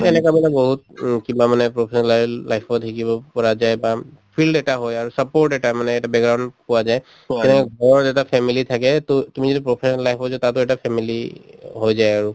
এনেকুৱা এনেকুৱা বহুত কিবা মানে professional life ত শিকিব পৰা যায় বা field এটা হয় আৰু support এটা মানে এটা background পোৱা যায় । টো ঘৰত এটা family থাকে টো তুমি যদি professional life হৈ যায় তাতো এটা family হৈ যায় আৰু।